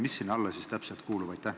Mis sinna alla täpselt kuulub?